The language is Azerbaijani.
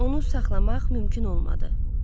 Onu saxlamaq mümkün olmadı.